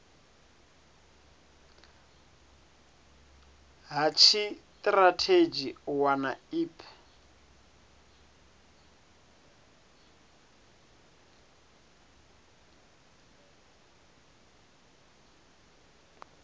ha tshitirathedzhi u wana ip